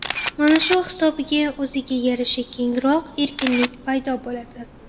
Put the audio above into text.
Mana shu hisobiga, o‘ziga yarasha kengroq erkinlik paydo bo‘ladi.